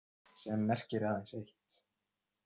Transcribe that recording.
Sem merkir aðeins eitt.